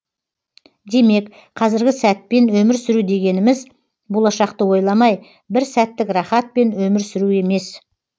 демек қазіргі сәтпен өмір сүру дегеніміз болашақты ойламай бір сәттік рахатпен өмір сүру емес